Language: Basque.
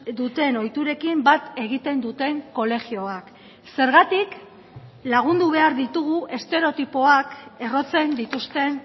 duten ohiturekin bat egiten duten kolegioak zergatik lagundu behar ditugu estereotipoak errotzen dituzten